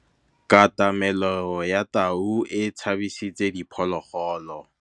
Katamêlô ya tau e tshabisitse diphôlôgôlô.